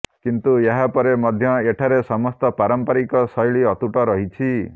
କିନ୍ତୁ ଏହା ପରେ ମଧ୍ୟ ଏଠାରେ ସମସ୍ତ ପାରମ୍ପରିକ ଶୈଳୀ ଅତୁଟ ରହିଛି